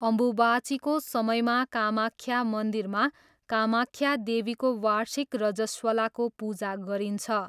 अम्बुबाचीको समयमा कामाख्या मन्दिरमा कामाख्या देवीको वार्षिक रजस्वलाको पूजा गरिन्छ।